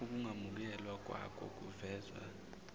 ukungamukelwa kwako kuvezwa